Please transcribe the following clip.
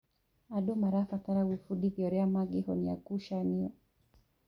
Andũ marabatara gwĩbundithia ũrĩa mangĩhonia ngucanio.